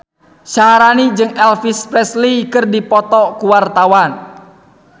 Syaharani jeung Elvis Presley keur dipoto ku wartawan